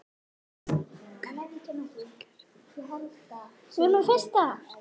Keldusvín gerir vart við sig með hljóðum.